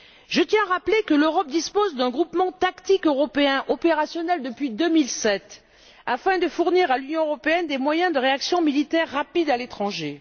Je tiens à rappeler que l'Europe dispose d'un groupement tactique européen opérationnel depuis 2007 afin de fournir à l'Union européenne des moyens de réaction militaire rapides à l'étranger.